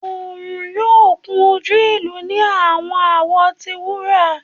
Oorun yoo kun oju ilu ni awọn awọ ti wura